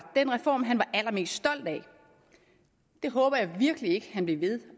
den reform han var allermest stolt af det håber jeg virkelig ikke han bliver ved at